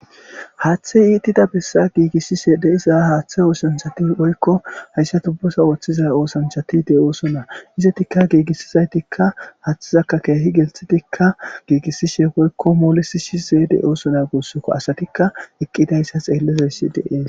haaththe iitida bessa giigissishe de7iza haaththe oosanchati oykko hayssa tubbosa ooththiza oosanchatide oosona izatikka giigissizaytikka haaththizakkakeehi gelthitikka giigissi sheepoykko moolesi shi zeede oosona guussokko asatikka eqqidayssa xeellizay si dee